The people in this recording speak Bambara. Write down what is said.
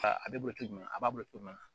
A bɛ boli a b'a bolo cogo jumɛn na